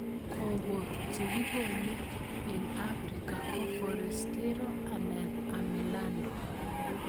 Koko che kikole eng' afrika ko Forastero anan Amelando